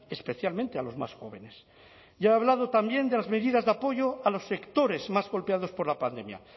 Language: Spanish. especialmente a los más jóvenes ya ha hablado también de las medidas de apoyo a los sectores más golpeados por la pandemia